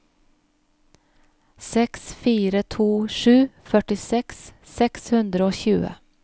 seks fire to sju førtiseks seks hundre og tjue